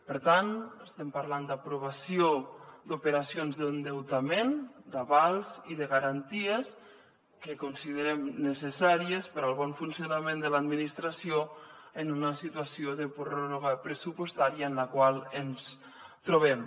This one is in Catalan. per tant estem parlant d’aprovació d’operacions d’endeutament d’avals i de garanties que considerem necessàries per al bon funcionament de l’administració en una situació de pròrroga pressupostària en la qual ens trobem